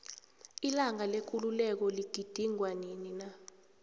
ilanga lekululeko ligilingwa nini na